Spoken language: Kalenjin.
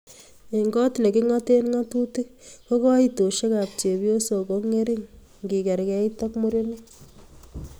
Eng kot ne kingoten ngatutik ko koitosiekab chepyosok ko ngering ngekerkeit ak murenik